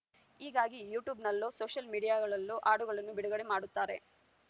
ಹೀಗಾಗಿ ಯೂಟ್ಯೂಬ್‌ನಲ್ಲೋ ಸೋಷಯಲ್‌ ಮೀಡಿಯಾಗಳಲ್ಲೋ ಹಾಡುಗಳನ್ನು ಬಿಡುಗಡೆ ಮಾಡುತ್ತಾರೆ